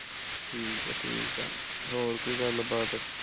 ਠੀਕ ਆ ਠੀਕ ਆ ਹੋਰ ਕੋਈ ਗੱਲ ਬਾਤ